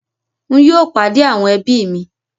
Ń yìí ó pàdé àwọn ẹbí mi